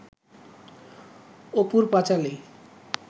অপুর পাঁচালী